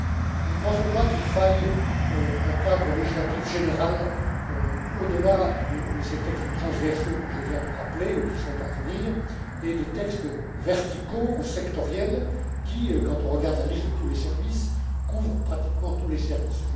Nous ne pensons pas qu'il faille un cadre législatif général au delà de ces textes transversaux que je viens de rappeler ou qui sont à venir, et des textes verticaux ou sectoriels qui, quand on regarde la liste des services, couvrent pratiquement tous les services.